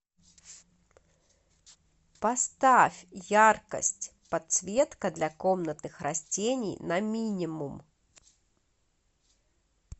поставь яркость подсветка для комнатных растений на минимум